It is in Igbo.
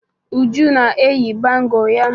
Uju na-eyi bangọ ya.